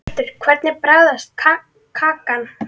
Hjörtur: Hvernig bragðast kakan?